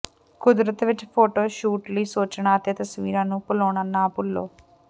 ਕੁਦਰਤ ਵਿਚ photo shoot ਲਈ ਸੋਚਣਾ ਅਤੇ ਤਸਵੀਰਾਂ ਨੂੰ ਭੁਲਾਉਣਾ ਨਾ ਭੁੱਲੋ